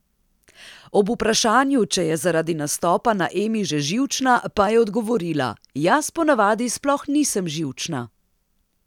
Ob vprašanju, če je zaradi nastopa na Emi že živčna, pa je odgovorila: "Jaz ponavadi sploh nisem živčna.